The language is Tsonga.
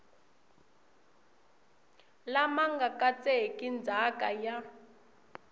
lama nga katseki ndzhaka ya